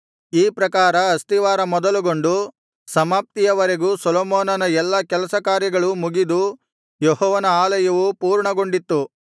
ಈ ಪ್ರಕಾರ ಆಸ್ತಿವಾರ ಮೊದಲುಗೊಂಡು ಸಮಾಪ್ತಿಯವರೆಗೂ ಸೊಲೊಮೋನನ ಎಲ್ಲಾ ಕೆಲಸ ಕಾರ್ಯಗಳೂ ಮುಗಿದು ಯೆಹೋವನ ಆಲಯವು ಪೂರ್ಣಗೊಂಡಿತ್ತು